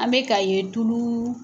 An mɛka ka ye tulu